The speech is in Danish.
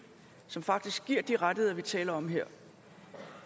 som faktisk giver de rettigheder vi taler om her